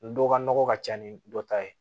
Dɔ ka nɔgɔ ka ca ni dɔ ta ye